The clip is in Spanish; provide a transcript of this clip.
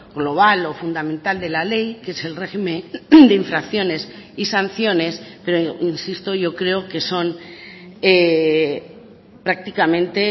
global o fundamental de la ley que es el régimen de infracciones y sanciones pero insisto yo creo que son prácticamente